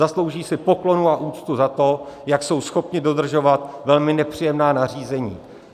Zaslouží si poklonu a úctu za to, jak jsou schopni dodržovat velmi nepříjemná nařízení.